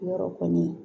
Yɔrɔ kɔni